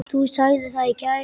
Þú sagðir það í gær.